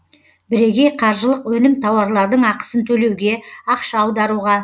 бірегей қаржылық өнім тауарлардың ақысын төлеуге ақша аударуға